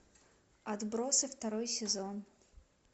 отбросы второй сезон